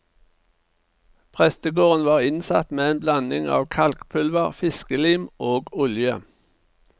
Prestegården var innsatt med en blanding av kalkpulver, fiskelim og olje.